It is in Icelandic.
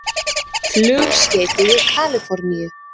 Flugskeyti við Kalíforníu